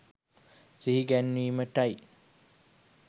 සිහි ගැන්වීමට යි.